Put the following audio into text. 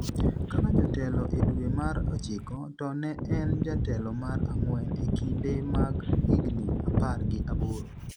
kaka jatelo e dwe mar ochiko, to ne en jatelo mar ang'wen e kinde mag higni apar gi aboro